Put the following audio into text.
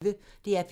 DR P1